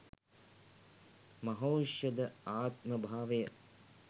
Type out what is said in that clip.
මහෞෂධ ආත්ම භාවය